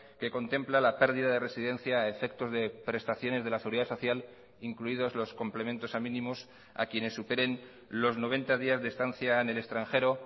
que contempla la perdida de residencia a efectos de prestaciones de la seguridad social incluidos los complementos a mínimos a quienes superen los noventa días de estancia en el extranjero